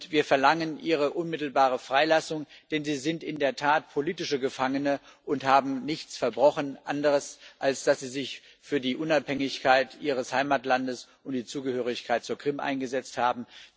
Wir verlangen ihre unmittelbare Freilassung, denn sie sind in der Tat politische Gefangene und haben nichts anderes verbrochen, als dass sie sich für die Unabhängigkeit ihres Heimatlandes und die Zugehörigkeit zur Krim eingesetzt haben.